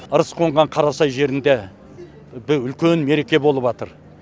ырыс қонған қарасай жерінде бір үлкен мереке болыватыр